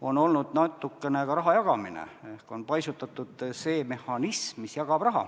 on olnud natukene ka raha jagamine ehk on paisutatud seda mehhanismi, mis jagab raha.